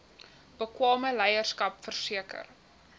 bekwame leierskap verseker